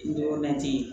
Dɔgɔda tɛ yen